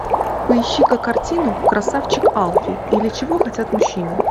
поищи ка картину красавчик алфи или чего хотят мужчины